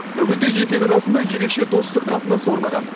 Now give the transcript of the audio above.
бүгінде екі ел арасында ерекше достық қатынас орнаған